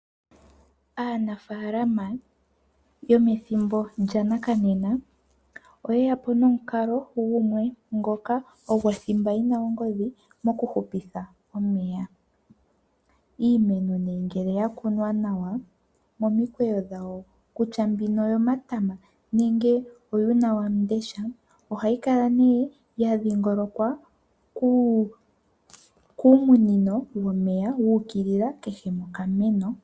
Aanafaalama yomethimbo lyongashingeyi oyeya po nomikalo gumwe ngoka ogo thimba yina ongodhi mokuhupitha omeya. Iimeno ngele yakunwa nawa momikweyo dhawo kutya mbino oyo matama nenge oyuuna wamundesha ohayi kala ne yadhingolokwa kominino dhomeya dha ukilila keshe mokameno.